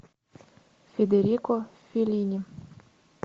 федерико феллини